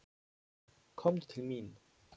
Komdu til mín.